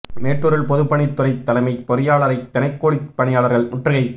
மேட்டூரில் பொதுப் பணித் துறை தலைமை பொறியாளரை தினக்கூலி பணியாளா்கள் முற்றுகை